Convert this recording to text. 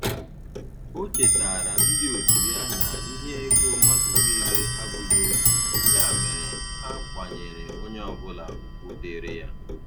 O chetara ndị otu ya na ihe ego mmadụ niile abụghị otu, ya mere ha kwanyere onye ọ bụla ugwu dịrị ya.